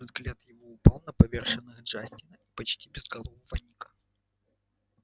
взгляд его упал на поверженных джастина и почти безголового ника